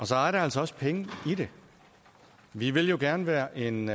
så er der altså også penge i det vi vil jo gerne være en